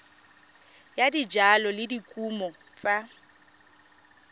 ya dijalo le dikumo tsa